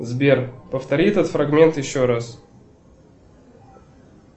сбер повтори этот фрагмент еще раз